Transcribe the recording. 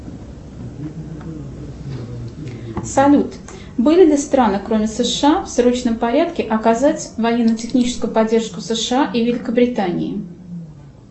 салют были ли страны кроме сша в срочном порядке оказать военно техническую поддержку сша и великобритании